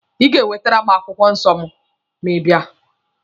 Ị ga-ewetere m akwụkwọ nsọ mụ ma ị bịawa!